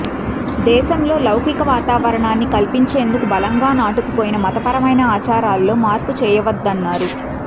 దేశంలో లౌకిక వాతావరణాన్ని కల్పించేందుకు బలంగా నాటుకుపోయిన మతపరమైన ఆచారాల్లో మార్పు చేయవద్దన్నారు